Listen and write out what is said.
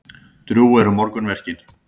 Drjúg eru morgunverkin.